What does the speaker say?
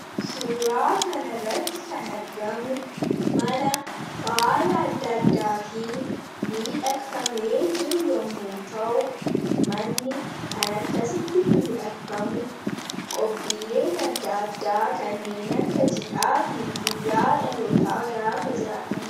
suuraa kan irratti kan argamu mana faaya adda addaatiin miidhaqfame jiru yommoo ta'u manni kan akkasitti miidhaqfamu qophiileen adda addaa kanneen akka cidhaa fi guyyaa dhalotaa gaafa jiraatanidha.